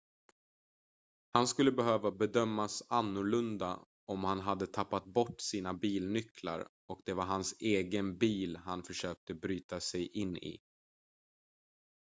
han skulle behöva bedömas annorlunda om han hade tappat bort sina bilnycklar och det var hans egen bil han försökte bryta sig in i